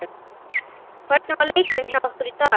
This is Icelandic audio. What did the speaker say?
Hvernig var leikurinn hjá ykkur í dag?